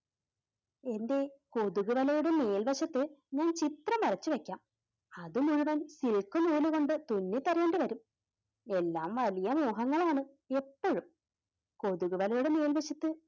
എൻറെ കൊതുകു വലയുടെ മേൽവശത്ത് ഞാനൊരു ചിത്രം വരച്ചുവെക്കാം. അതിൽ എഴുതാൻ silk നൂലുകൊണ്ട് തുന്നിത്തരേണ്ടിവരും. എല്ലാം വലിയ മോഹങ്ങൾ ആണ്. എപ്പോഴും കൊതുക് വലയുടെ മേൽവശത്ത്,